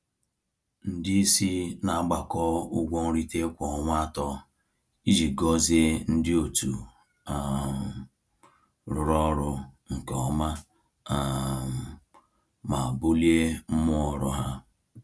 Ndị isi na-agbakọ ụgwọ nrite kwa ọnwa atọ iji gọzie ndị otu um rụrụ ọrụ nke ọma um ma bulie mmụọ ọrụ ha.